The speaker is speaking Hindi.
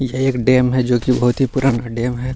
यह एक डैम है जो की बहुत ही पुराना डैम है।